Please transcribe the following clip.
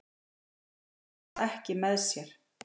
Menn hugsa ekki með sér